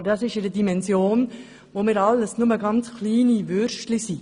Dieser Bereich liegt in einer Dimension, in der wir alle nur ganz kleine Würstchen sind.